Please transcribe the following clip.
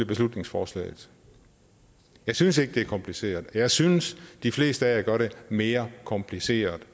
beslutningsforslaget jeg synes ikke det er kompliceret og jeg synes at de fleste her gør det mere kompliceret